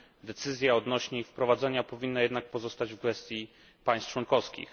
Decyzja odnośnie ich wprowadzania powinna jednak pozostać w gestii państw członkowskich.